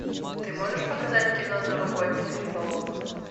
ты можешь показать кино новогодний переполох